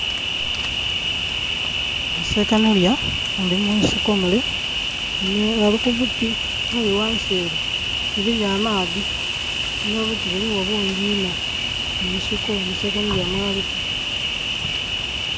Sekanolya ali mu nsiko mule ali ku buti aye ghansi ere eriyo amaadhi no buti buligho bungi iinho munsiko sekanolya mwali.